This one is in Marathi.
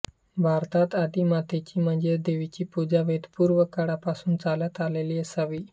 भारतात आदिमातेची म्हणजे देवीची पूजा वेदपूर्व काळापासून चालत आलेली असावी